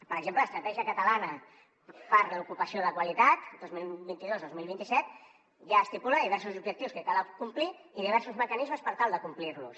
per exemple l’estratègia catalana per a l’ocupació de qualitat dos mil vint dos dos mil vint set ja estipula diversos objectius que cal acomplir i diversos mecanismes per tal d’acomplir los